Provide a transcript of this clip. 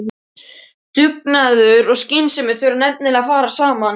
Dugnaður og skynsemi þurfa nefnilega að fara saman.